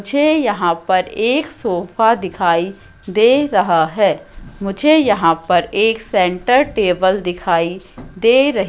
मुझे यहां पर एक सोफा दिखाई दे रहा हैं मुझे यहां पर एक सेंटर टेबल दिखाई दे रही--